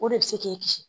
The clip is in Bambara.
O de bɛ se k'i kisi